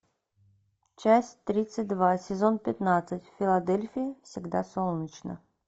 часть тридцать два сезон пятнадцать в филадельфии всегда солнечно